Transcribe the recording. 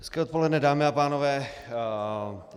Hezké odpoledne, dámy a pánové.